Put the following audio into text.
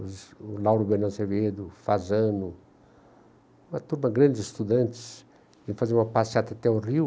Os o Lauro Bernardo Severo, o Fasano, uma turma de grandes estudantes iam fazer uma passeata até o Rio,